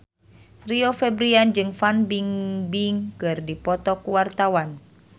Rio Febrian jeung Fan Bingbing keur dipoto ku wartawan